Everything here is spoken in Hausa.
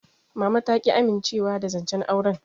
Mama ta ƙi amincewa da zancen auren.